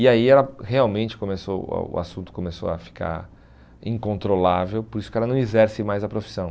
E aí ela realmente começou o a o assunto começou a ficar incontrolável, por isso que ela não exerce mais a profissão.